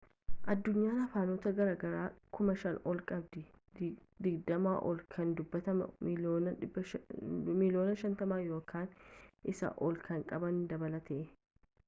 addunyaan afaanota garaa garaa 5,000 ol qabdi digdamaa ol kan dubbattoota miiliyoona 50 yookaan isaa olii kan qaban dabalatee